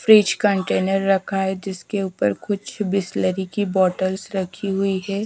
Fridge container रखा है जिसके ऊपर कुछ बिसलेरी की बॉटल्स रखी हुई है।